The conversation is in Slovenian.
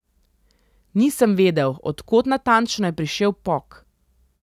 Nisem vedel, od kod natančno je prišel pok.